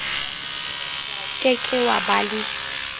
ke ke wa ba le